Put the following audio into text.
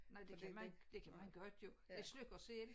Nej det kan man det kan man godt jo det slukker selv